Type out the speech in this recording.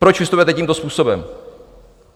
Proč vystupujete tímto způsobem?